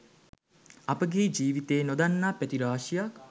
අපගේ ජීවිතයේ නොදන්නා පැති රාශියක්